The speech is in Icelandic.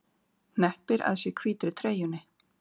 Hneppir að sér hvítri treyjunni.